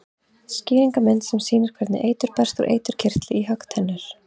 Skýringarmynd sem sýnir hvernig eitur berst úr eiturkirtli í höggtennur.